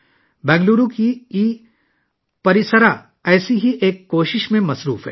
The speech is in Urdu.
بنگلورو کا ای پرسارا ایسی ہی ایک کوشش میں مصروف ہے